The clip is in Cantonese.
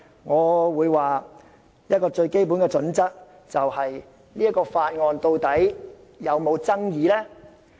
我認為最基本的準則，便是該項法案是否具爭議性。